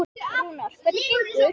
Rúnar, hvernig gengur?